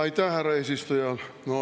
Aitäh, härra eesistuja!